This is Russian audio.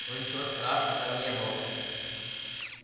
но ничего страшного там не было